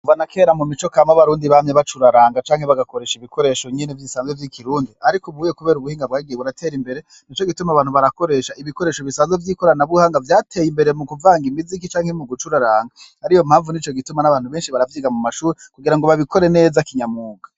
Kuva na kera, mu mico kama, abarundi bamye bacuraranga canke bagakoresha ibikoresho nyene bisanzwe vy'ikirundi; ariko ubuye kubera ubuhinga bwagiye buratera imbere, nico gituma abantu barakoresha ibikoresho bisanzwe vy'ikoranabuhanga, vyateye imbere mu kuvanga imiziki canke mu gucuraranga, ariyo mpamvu, nico gituma n'abantu benshi baravyiga mu mashure, kugira ngo babikore neza kinyamwuga.